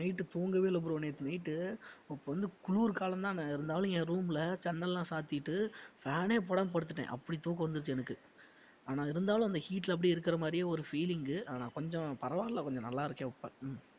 night தூங்கவே இல்ல bro நேத்து night உ வந்து குளிர் காலம் தான இருந்தாலும் என் room ல ஜன்னல்லாம் சாத்திட்டு fan ஏ போடாம படுத்திட்டேன் அப்படி தூக்கம் வந்துடிச்சு எனக்கு ஆனா இருந்தாலும் அந்த heat அப்படியே இருக்கிற மாதிரியே ஒரு feeling உ ஆனா கொஞ்சம் பரவாயில்லை கொஞ்சம் நல்லாயிருக்கேன் இப்ப